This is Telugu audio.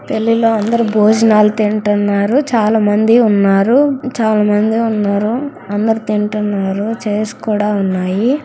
పెళ్లిలో అందరూ భోజనాలు తింటున్నారు చాలామంది ఉన్నారు చాలామంది ఉన్నారు అందరూ తింటున్నారు చైర్ స్ కూడా ఉన్నాయి.